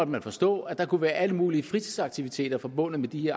man forstå at der kunne være alle mulige fritidsaktiviteter forbundet med de